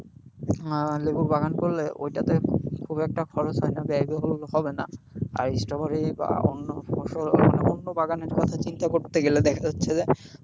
আহ লেবুর বাগান করলে ওইটাতে খুব একটা খরচ হয়না ব্যয়বহুল হবে না, আর স্ট্রবেরি বা অন্য ফসল বা অন্য বাগানের কথা চিন্তা করতে গেলে দেখা যাচ্ছে যে,